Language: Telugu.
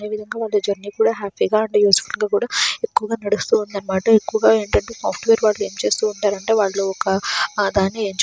ఈ విధంగా వాళ్ళు జర్నీ కూడా హ్యాపీగా అండ్ యూస్ ఫుల్ గా కూడా ఎక్కువగా నడుస్తూ ఉందన్నమాట. ఎక్కువగా ఏంటంటే సాఫ్ట్వేర్ వాళ్ళు ఏం చేస్తూ ఉంటారు అంటే వాళ్ళు ఒక దాన్ని ఎంచుకొని